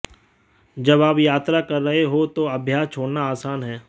जब आप यात्रा कर रहे हों तो अभ्यास छोड़ना आसान है